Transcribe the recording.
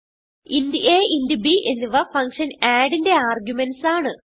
int a int b എന്നിവ function add ന്റെ arguments ആണ്